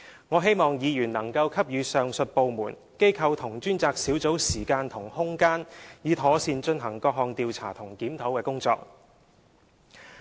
我希望議員能夠給予上述各部門、機構和專責小組時間和空間，以妥善進行各項調查和檢討工作。